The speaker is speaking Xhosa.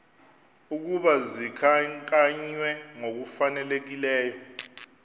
ukuba zikhankanywe ngokufanelekileyo